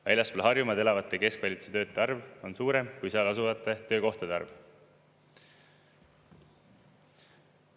Väljaspool Harjumaad elavate keskvalitsuse töötajate arv on suurem kui seal asuvate töökohtade arv.